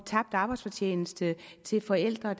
tabt arbejdsfortjeneste til forældre